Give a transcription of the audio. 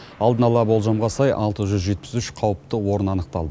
алдын ала болжамға сай алты жүз жетпіс үш қауіпті орын анықталды